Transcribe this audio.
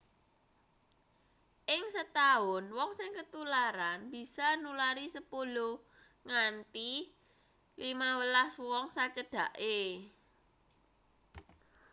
ing setaun wong sing ketularan bisa nulari 10 nganti 15 wong sacedhake